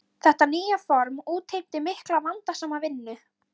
Þetta nýja form útheimti mikla og vandasama vinnu.